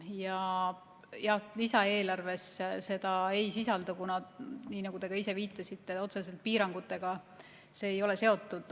Jah, lisaeelarves seda ei sisaldu, kuna, nagu te ka ise viitasite, ei ole see otseselt piirangutega seotud.